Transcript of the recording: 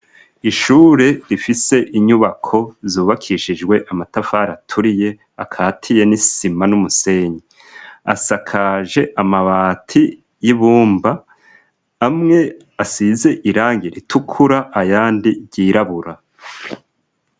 Ishure rifise inyubako zubakishijwe amatafari aturiye akatiye n'isima n'umusenyi, asakaje amabati y'ibumba amwe asize irangi ritukura ayandi ryirabura.